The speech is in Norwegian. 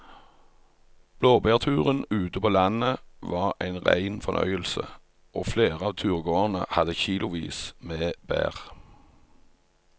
Blåbærturen ute på landet var en rein fornøyelse og flere av turgåerene hadde kilosvis med bær.